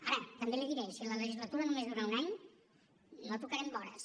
ara també li diré si la legislatura només dura un any no tocarem vores